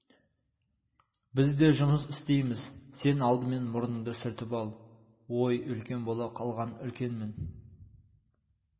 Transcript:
біз де жұмыс істейміз сен алдымен мұрныңды сүртіп ал ой үлкен бола қалғанын үлкенмін